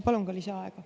Palun ka lisaaega.